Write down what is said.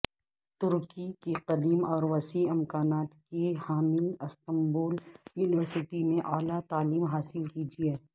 ترکی کی قدیم اور وسیع امکانات کی حامل استنبول یونیورسٹی میں اعلی تعلیم حاصل کیجیے